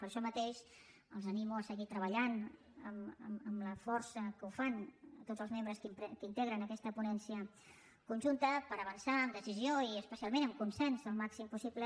per això mateix els animo a seguir treballant amb la força amb què ho fan tots els membres que integren aquesta ponència conjunta per avançar amb decisió i especialment amb consens el màxim possible